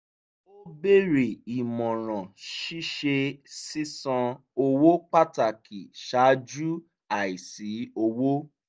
ó béèrè ìmọ̀ràn ṣíṣe sísan owó pàtàkì ṣáájú àìsí owó